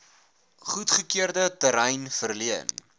goedgekeurde terrein verleen